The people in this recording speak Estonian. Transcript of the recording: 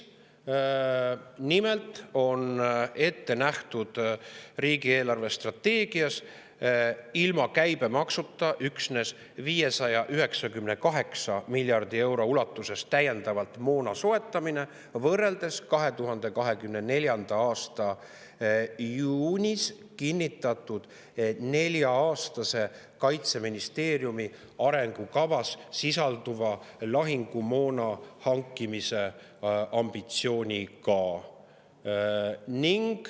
Nimelt on riigi eelarvestrateegias ette nähtud ilma käibemaksuta üksnes 598 miljardi euro ulatuses täiendava moona soetamine, võrreldes 2024. aasta juunis kinnitatud Kaitseministeeriumi arengukavas sisalduva lahingumoona hankimise nelja-aastase ambitsiooniga.